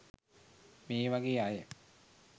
මේ වගේ අය